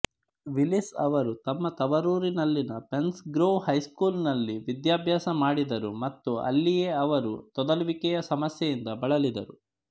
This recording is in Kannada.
ವಿಲ್ಲೀಸ್ ಅವರು ತಮ್ಮ ತವರೂರಿನಲ್ಲಿನ ಪೆನ್ಸ್ ಗ್ರೋವ್ ಹೈಸ್ಕೂಲಿನಲ್ಲಿ ವಿದ್ಯಾಭ್ಯಾಸ ಮಾಡಿದರು ಮತ್ತು ಅಲ್ಲಿಯೇ ಅವರು ತೊದಲುವಿಕೆಯ ಸಮಸ್ಯೆಯಿಂದ ಬಳಲಿದರು